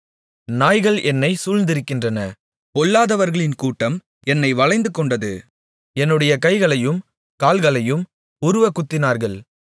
நாய்கள் என்னைச் சூழ்ந்திருக்கின்றன பொல்லாதவர்களின் கூட்டம் என்னை வளைந்துகொண்டது என்னுடைய கைகளையும் கால்களையும் உருவக் குத்தினார்கள்